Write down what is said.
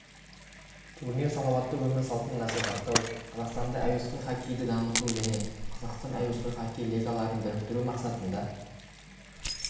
турнир салауатты өмір салтын насихаттау қазақстанда әуесқой хоккейді дамыту және қазақстан әуесқой хоккей лигаларын біріктіру мақсатында